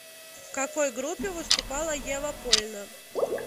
в какой группе выступала ева польна